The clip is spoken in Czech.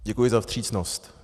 Děkuji za vstřícnost.